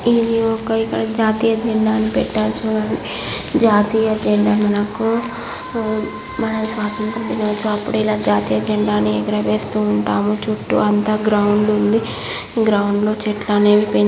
ఇది ఒక ఇక్కడ జాతీయ జెండాను పెట్టారు చూడండి. జాతీయ జెండా మనకు ఊ మన స్వాతంత్ర దినోత్సవం అప్పుడు ఇలా జాతీయ జెండాని ఎగురవేస్తూ ఉంటాము. చుట్టూ అంతా గ్రౌండ్ ఉంది. గ్రౌండ్ లో చెట్లనేవి పైన--